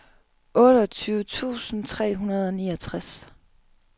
otteogtyve tusind tre hundrede og niogtres